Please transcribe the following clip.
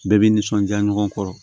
Bɛɛ bɛ nisɔndiya ɲɔgɔn kɔrɔ